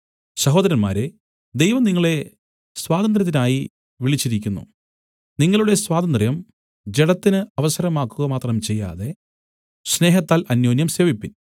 സഹോദരന്മാരേ ദൈവം നിങ്ങളെ സ്വാതന്ത്ര്യത്തിനായി വിളിച്ചിരിക്കുന്നു നിങ്ങളുടെ സ്വാതന്ത്ര്യം ജഡത്തിന് അവസരമാക്കുക മാത്രം ചെയ്യാതെ സ്നേഹത്താൽ അന്യോന്യം സേവിപ്പിൻ